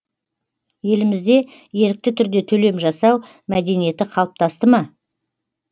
елімізде ерікті түрде төлем жасау мәдениеті қалыптасты ма